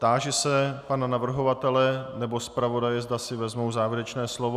Táži se pana navrhovatele nebo zpravodaje, zda si vezmou závěrečné slovo.